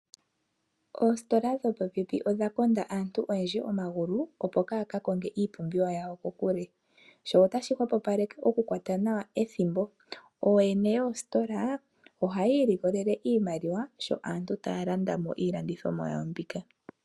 Oositola dhopopepi odha konda aantu oyendji omagulu opo kaaya ka konge iipumbiwa yawo kokule. Sho otashi hwepopaleka oku kwata nawa ethimbo. Ooyene yoositola ohayi ilikolele iimaliwa sho aantu taya landa mo iilandithonwa yawo mbika.